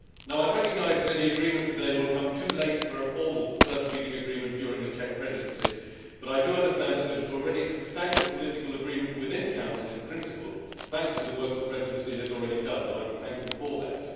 I recognise that any agreement today will come too late for a formal first reading agreement during the Czech Presidency, but I understand that there is already substantial political agreement within the Council in principle, thanks to the work the Presidency has already done, and I wish to thank it for that.